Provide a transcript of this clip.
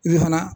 I bɛ fana